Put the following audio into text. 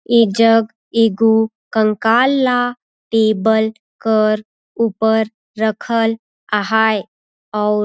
ये जग एगो कंकाल ला टेबल कर ऊपर रखल आहायए आउर--